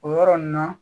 O yɔrɔ nin na